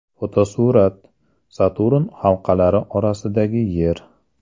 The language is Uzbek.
Fotosurat: Saturn halqalari orasidagi Yer.